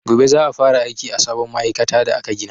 Gobe za'a fara aiki a sabon ma'aikata da aka gina.